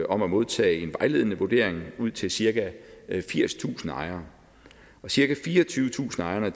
om at modtage en vejledende vurdering ud til cirka firstusind ejere cirka fireogtyvetusind ejere